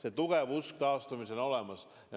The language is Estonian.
Ja see usk taastumisse on tugev.